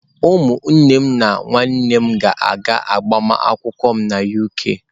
Ụmụnne m na nwanne nne m ga-aga agbamakwụkwọ m na UK.